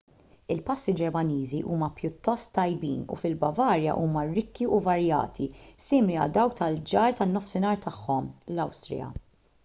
il-pasti ġermaniżi huma pjuttost tajbin u fil-bavarja huma rikki u varjati simili għal dawk tal-ġar tan-nofsinhar tagħhom l-awstrija